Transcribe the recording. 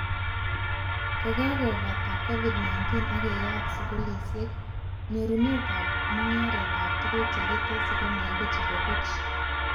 Kokakobate Covid-19 ak keyaat skulishek, nyorunetab mugaretab tuguk chekitesyi komakoeku chebo buch